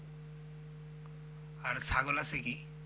আর ছাগল আছে কী?